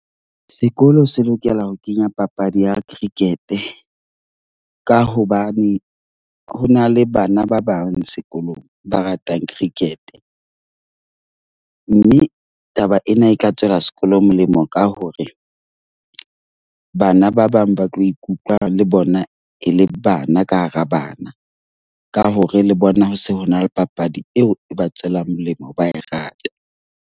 Sekolo se lokela ho kenya papadi ya cricket ka hobane ho na le bana ba bang sekolong ba ratang cricket. Mme taba ena e ka tswela sekolo molemo, ka hore bana ba bang ba tlo ikutlwa le bona e le bana ka hara bana ka hore le bona ho se ho na le papadi eo e ba tswelang molemo ba e rata.